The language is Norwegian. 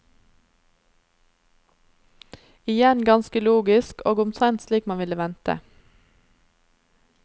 Igjen ganske logisk, og omtrent slik man ville vente.